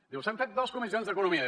diu s’han fet dos comissions d’economia